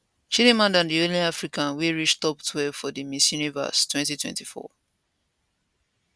chidimma na di only african wey reach top twelve for di miss universe 2024